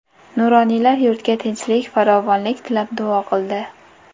Nuroniylar yurtga tinchlik-farovonlik tilab duolar qildi.